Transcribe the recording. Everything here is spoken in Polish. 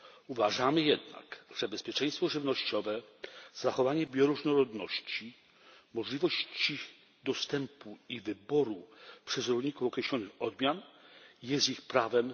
Uważamy jednak, że bezpieczeństwo żywnościowe, zachowanie bioróżnorodności, możliwości dostępu i wyboru przez rolników określonych odmian są ich prawem.